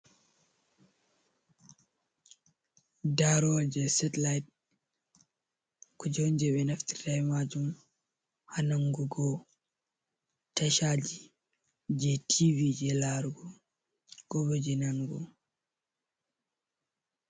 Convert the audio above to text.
Daroje satellit, kuje on je ɓe naftirta be majum ha nangugo tashaji, je tv je larugo, ko bo je nanugo.